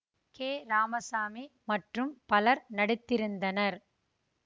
K Ramasamy மற்றும் பலர் நடித்திருந்தனர்